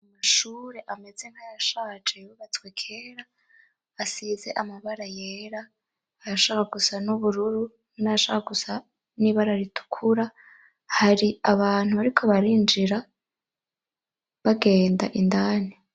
Amashure ameze nka yashaje yubatswe kera asize amabara yera ayashaka gusa n'ubururu nayashaka gusa n'ibara ritukura hari abantu bariko barinjira bagenda indani.